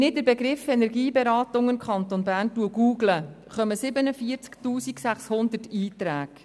Wenn ich den Begriff Energieberatung im Kanton Bern «google», erscheinen 47 600 Einträge.